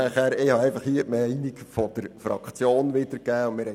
Hier habe ich einfach die Meinung der Fraktion wiedergegeben.